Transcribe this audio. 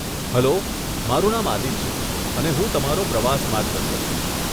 Hello, મારું નામ આદીલ છે, અને હું તમારી પ્રવાસ માર્ગદર્શક છું.